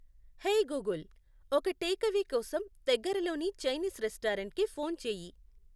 hey Google, ఒక takeaway కోసం దగ్గరలోని చైనీస్ రెస్టారెంట్కి ఫోన్ చేయి